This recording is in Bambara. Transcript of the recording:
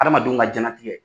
Adamadenw ka diɲɛ latigɛ